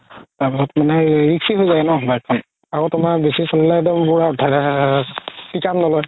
তাৰ পিছত মানে risky হয় যাই ন bike খন আৰু তুমাৰ বেচি চলিলে ধেৰ ধেৰ ধেৰ pick up নলয়